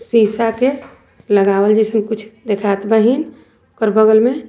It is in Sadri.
शीशा के लगावल जइसन कुछ देखात बाहिन ओकर बगल में।